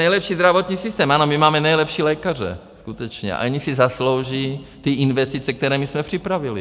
Nejlepší zdravotní systém, ano, my máme nejlepší lékaře skutečně a oni si zaslouží ty investice, které my jsme připravili.